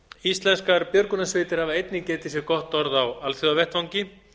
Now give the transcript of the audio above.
íslenskar björgunarsveitir hafa einnig getið sér gott orð á alþjóðavettvangi